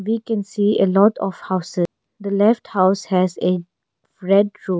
We can see a lot of houses the left house has a red roof.